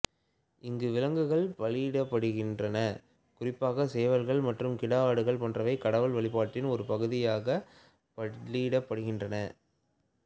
இங்கு விலங்குகள் பலியிடப்படுகின்றன குறிப்பாக சேவல்கள் மற்றும் கிடா ஆடுகள் போன்றவை கடவுள் வழிபாட்டின் ஒரு பகுதியாக பலியிடப்படுகின்றன